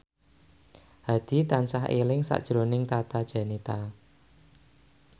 Hadi tansah eling sakjroning Tata Janeta